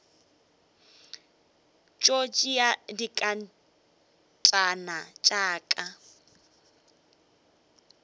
tšo tšea dinkatana tša ka